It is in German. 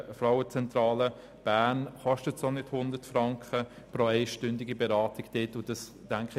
Im Gegensatz zur Frauenzentrale Bern kostet eine einstündige Beratung auch nicht 100 Franken.